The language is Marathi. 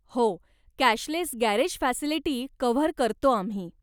हो, कॅशलेस गॅरेज फॅसिलिटी कव्हर करतो आम्ही.